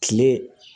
Kile